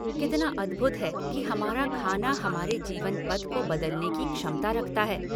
कितना अद्भुत है कि हमारा खाना हमारे जीवन पथ को बदलने की क्षमता रखता है।